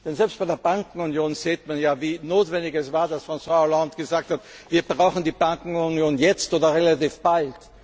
Denn selbst bei der Bankenunion sieht man ja, wie notwendig es war, dass François Hollande gesagt hat, wir brauchen die Bankenunion jetzt oder relativ bald.